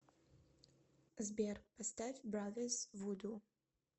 сбер поставь бразерс вуду